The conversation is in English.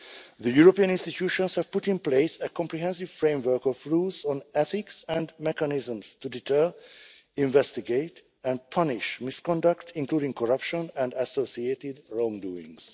The European institutions have put in place a comprehensive framework of rules on ethics and mechanisms to deter, investigate and punish misconduct, including corruption and associated wrongdoings.